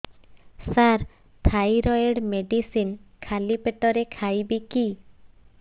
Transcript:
ସାର thyroid medicine ଖାଲି ପେଟରେ ଖାଇବି କି